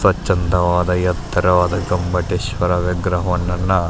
ಸ್ವಚ್ಛಂದವಾದ ಎತ್ತರವಾದ ಗೊಮ್ಮಟೇಶ್ವರ ವಿಗ್ರಹವನ್ನ --